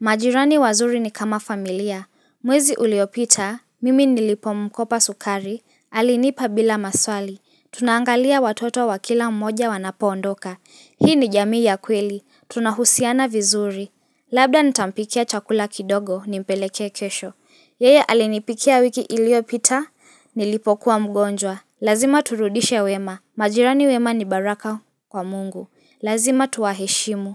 Majirani wazuri ni kama familia. Mwezi uliopita, mimi nilipomkopa sukari, Alinipa bila maswali. Tunangalia watoto wa kila mmoja wanapoondoka. Hii ni jamii ya kweli. Tunahusiana vizuri. Labda nitampikia chakula kidogo nimpelekee kesho. Yeye alinipikia wiki iliyopita nilipokuwa mgonjwa. Lazima turudishe wema. Majirani wema ni baraka kwa Mungu, lazima tuwaheshimu.